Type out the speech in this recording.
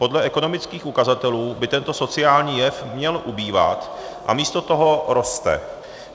Podle ekonomických ukazatelů by tento sociální jev měl ubývat a místo toho roste.